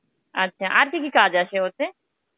আচ্ছা, আর কি কি কাজ আছে ওতে?